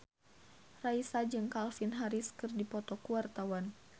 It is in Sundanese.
Raisa jeung Calvin Harris keur dipoto ku wartawan